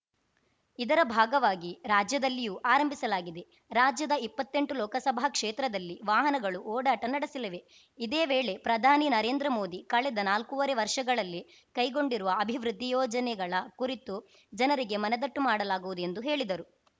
ಇದರ ಭಾಗವಾಗಿ ರಾಜ್ಯದಲ್ಲಿಯೂ ಆರಂಭಿಸಲಾಗಿದೆ ರಾಜ್ಯದ ಇಪ್ಪತ್ತೆಂಟು ಲೋಕಸಭಾ ಕ್ಷೇತ್ರದಲ್ಲಿ ವಾಹನಗಳು ಓಡಾಟ ನಡೆಸಲಿವೆ ಇದೇ ವೇಳೆ ಪ್ರಧಾನಿ ನರೇಂದ್ರ ಮೋದಿ ಕಳೆದ ನಾಲ್ಕುವರೆ ವರ್ಷಗಳಲ್ಲಿ ಕೈಗೊಂಡಿರುವ ಅಭಿವೃದ್ಧಿ ಯೋಜನೆಗಳ ಕುರಿತು ಜನರಿಗೆ ಮನದಟ್ಟು ಮಾಡಿಕೊಡಲಾಗುವುದು ಎಂದು ಹೇಳಿದರು